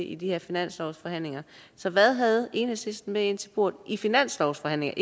i de her finanslovsforhandlinger så hvad havde enhedslisten med ind til bordet i finanslovsforhandlingerne